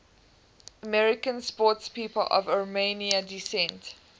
american sportspeople of armenian descent